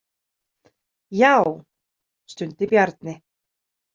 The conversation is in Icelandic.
Já, stundi Bjarni.